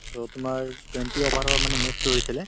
so, তোমাৰ twenty over ৰৰ মানে match হৈছিলে